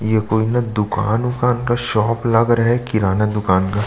ये कोई न दुकान वुकान का शॉप लग रहा है किराना दुकान का--